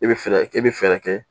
I bɛ fɛɛrɛ i bɛ fɛɛrɛ kɛ.